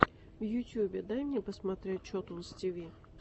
в ютюбе дай мне посмотреть чотунз ти ви